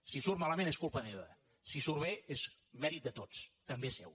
si surt malament és culpa meva si surt bé és mèrit de tots també seu